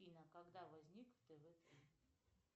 афина когда возник тв три